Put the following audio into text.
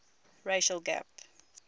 racial gap